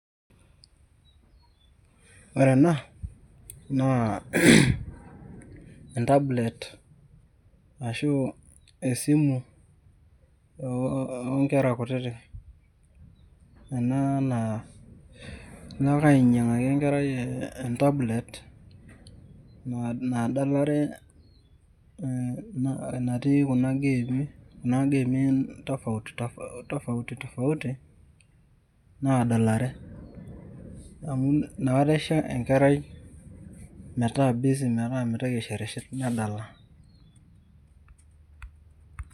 Ore enaa naa entablet ashu esimu oonkera kutitik enaa naa ilo ake ainyangaki enkerai tablet nadalare natii kuna gemii tofautitofauti nadalare nkera amu nakata isho enkerai metaa busy metaa medala .